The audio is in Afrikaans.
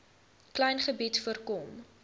klein gebied voorkom